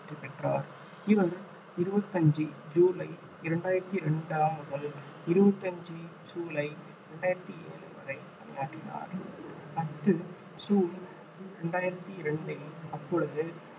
வெற்றி பெற்றார் இவர் இருபத்தி அஞ்சு ஜூலை இரண்டாயிரத்தி இரண்டாம் முதல் இருபத்தி அஞ்சு ஜூலை ரெண்டாயிரத்தி ஏழு வரை பணியாற்றினார் பத்து சூன் ரெண்டாயிரத்தி இரண்டில் அப்பொழுது